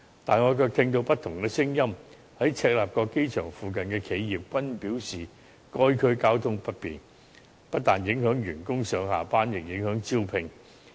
可是，我卻聽到有不同的聲音，在赤鱲角機場附近的企業均表示該區交通不便，不但影響員工上下班，亦影響招聘。